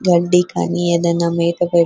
గడ్డి కానీ ఏదైనా మేత పె --